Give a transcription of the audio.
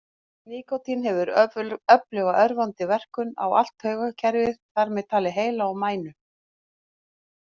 Nikótín hefur öfluga örvandi verkun á allt taugakerfið, þar með talið heila og mænu.